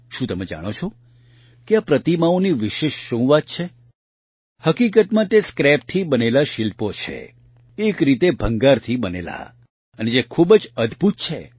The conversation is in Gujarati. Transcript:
શું તમે જાણો છો કે આ પ્રતિમાઓની વિશેષ શું વાત છે હકીકતમાં તે સ્ક્રેપથી બનેલા શિલ્પો છે એક રીતે ભંગારથી બનેલા અને જે ખૂબ જ અદભૂત છે